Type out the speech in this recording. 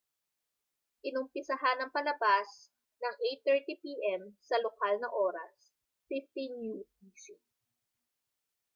inumpisahan ang palabas nang 8:30 p.m. sa lokal na oras 15.00 utc